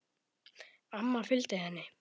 Amma fylgdi henni.